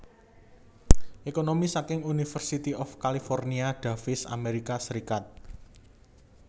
Ekonomi saking University of California Davis Amerika Serikat